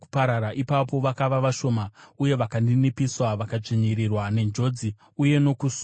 Ipapo vakava vashoma, uye vakaninipiswa vakadzvinyirirwa, nenjodzi uye nokusuwa;